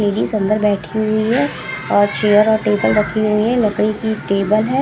Lady सुंदर बैठी हुई हैं और चेयर और टेबल रखी हुई हैं लकड़ी की टेबल हैं ।